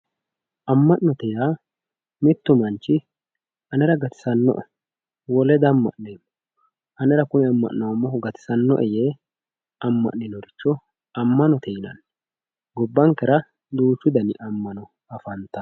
amma'note yaa mittu manchi anera gatisano"e wole damma'neemo anera kuni amma'noomohu gatisanno"e yee amma'ninorich ammanote yinanni gabbankera duuchu dani ammano afantanno.